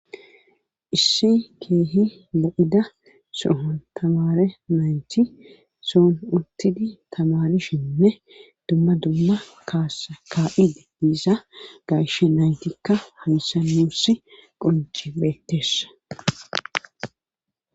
issi keehi la7ida sohon kamaare mayti soon untidi kamarishinne dumma dumma kaasa ka7ide diisa gayshe naytikka haysanuss qonji beettessa